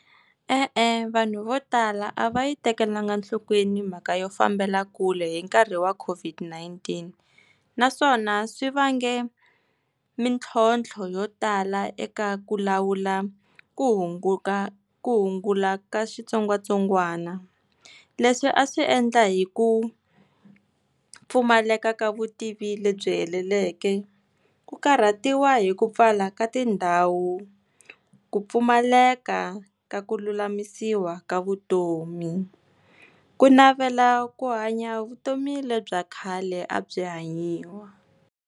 E-e, vanhu vo tala a va yi tekelanga enhlokweni mhaka yo fambela kule hi nkarhi wa COVID-19 naswona swi vange mitlhontlho yo tala eka ku lawula ku hunguta ku hungula ka switsongwatsongwana, leswi a swi endla hi ku pfumaleka ka vutivi lebyi heleleke, ku karhatiwa hi ku pfala ka tindhawu, ku pfumaleka ka ku lulamisiwa ka vutomi ku navela ku hanya vutomi lebya khale a byi hanyiwa.